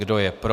Kdo je pro?